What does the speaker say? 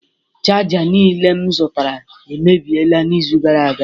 Chaja niile m zụtara emebiela n'izu gara aga